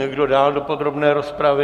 Kdo dál do podrobné rozpravy?